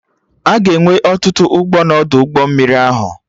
Aga enwe ọtụtụ ụgbọ na Ọdụ ụgbọ mmiri